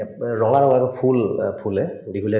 ৰঙা ৰঙৰ ফুল অ ফুলে বিহুলে